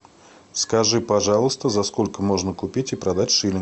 скажи пожалуйста за сколько можно купить и продать шиллинг